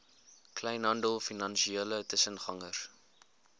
kleinhandel finansiële tussengangers